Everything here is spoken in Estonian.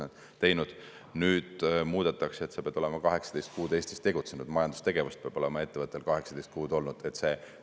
Nüüd muudetakse, et sa pead olema 18 kuud Eestis tegutsenud, ettevõttel peab olema olnud 18 kuud majandustegevust.